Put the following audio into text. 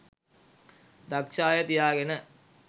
දක්ෂ අය තියාගෙන